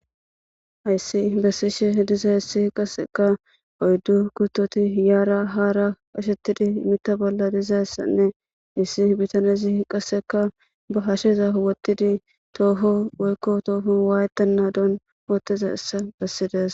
Hayisi besishe dizayisi qaseka yara oyidu kutoti yara hara qashetidi mita bola dizayisanne issi bitanezi qaseka ba hasheza wotizi toho woyikko toho wayetenadon besizaysa besizesi.